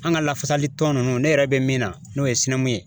An ka lafasali tɔn nunnu ne yɛrɛ be min na n'o ye sinɛmun ye